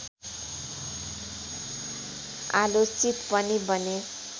आलोचित पनि बने